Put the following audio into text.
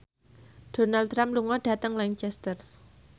Donald Trump lunga dhateng Lancaster